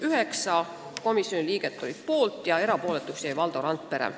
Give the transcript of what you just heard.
Üheksa komisjoni liiget oli poolt ja erapooletuks jäi Valdo Randpere.